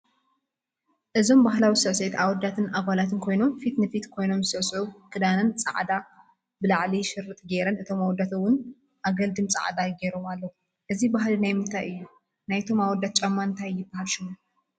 እዞም ባህላዊ ስዕስዒት አወዳትን አጋላትን ኮይኖም ፊት ንፊት ኮይኖም ዝስዕስዑ ክዳነን ፃዕዳ ብላዕሊ ሽርጥ ጌረን እቶም አወዳት እውን አገልድም ፃዕዳ ጌሮም ኣለዉ ። እዚ ባህሊ ናይ ምንታይ እዩ? ናይቶም አወዳት ጫማ እንታይ ይበሃል ሽሙ ?